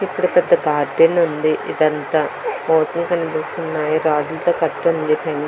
ఇక్కడ పెద్ద గార్డెన్ ఉంది. ఇదంతా రాడ్ లతో కత్తి ఉంది